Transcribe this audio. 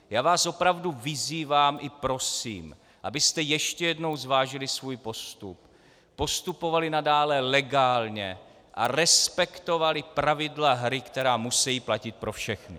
Já vás opravdu vyzývám i prosím, abyste ještě jednou zvážili svůj postup, postupovali nadále legálně a respektovali pravidla hry, která musejí platit pro všechny.